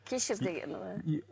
кешір дегені ғой